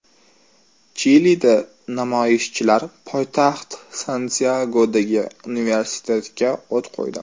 Chilida namoyishchilar poytaxt Santyagodagi universitetga o‘t qo‘ydi .